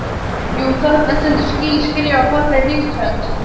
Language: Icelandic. Jú, þarna stendur ský skrifað fallegri rithönd.